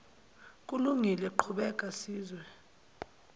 kulungile qhubeka sizwe